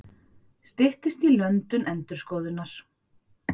Styttist í löndun endurskoðunar